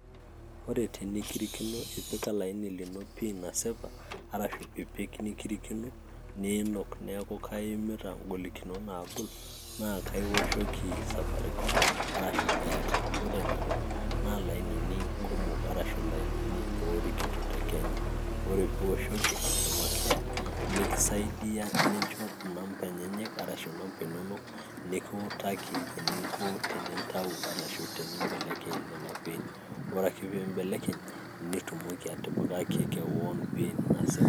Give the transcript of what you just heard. Ore tenekirikino ipik olaini lino PIN nasipa, arashu ipik nekirikino, niinok neeku kaiimita ing'olikinot naagol. Naa kaioshoki Safaricom arashu Airtel. Ore nena naa ilainini kumok arashu oorikito tekenya. Ore pee ioshoki Customer Care, nekisaidia nicho inamba inonok nekiutaki eninko tenintau arashu nimbelekeny ina PIN. Ore ake pee imbelekeny, nitumoki atipikaki kewan PIN nasipa.